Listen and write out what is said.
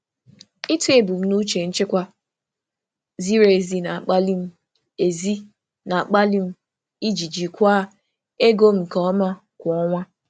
Ịtọ ebumnuche nchekwa ziri ezi na-akpali m iji jikwaa ego m nke ọma kwa ọnwa.